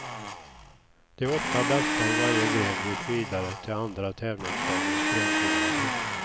De åtta bästa i varje gren gick vidare till andra tävlingsdagens grenfinaler.